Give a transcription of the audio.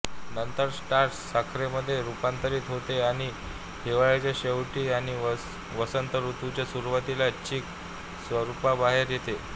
नंतर स्टार्च साखरेमध्ये रुपांतरित होते आणि हिवाळ्याच्या शेवटी आणि वसंतऋतूच्या सुरुवातीला चीक स्वरुपातबाहेर येते